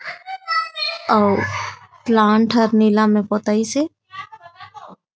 अउ प्लांट हर नीला में पोताईस हे।